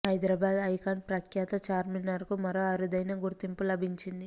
Hyderabad icon ప్రఖ్యాత చార్మినార్ కు మరో అరుదైన గుర్తింపు లభించింది